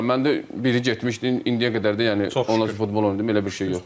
Yox, inanmıram, məndə biri getmişdi, indiyə qədər də yəni o futbol oynayırdım, elə bir şey yox idi.